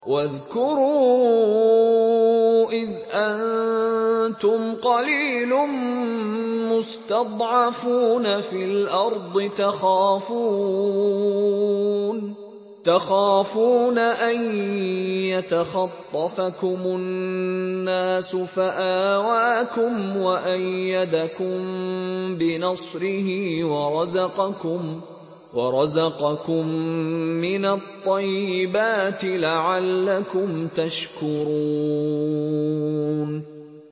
وَاذْكُرُوا إِذْ أَنتُمْ قَلِيلٌ مُّسْتَضْعَفُونَ فِي الْأَرْضِ تَخَافُونَ أَن يَتَخَطَّفَكُمُ النَّاسُ فَآوَاكُمْ وَأَيَّدَكُم بِنَصْرِهِ وَرَزَقَكُم مِّنَ الطَّيِّبَاتِ لَعَلَّكُمْ تَشْكُرُونَ